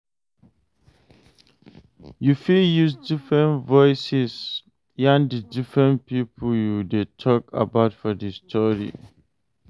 You fit use different voices yarn di different pipo you de talk about for di story